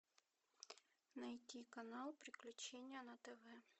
найти канал приключения на тв